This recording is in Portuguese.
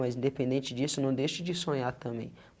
Mas independente disso, não deixe de sonhar também.